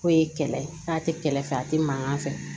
K'o ye kɛlɛ ye k'a tɛ kɛlɛ fɛ a tɛ mankan fɛ